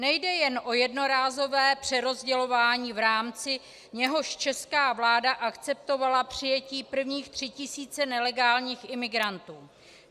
Nejde jen o jednorázové přerozdělování, v rámci něhož česká vláda akceptovala přijetí prvních tří tisíc nelegálních imigrantů.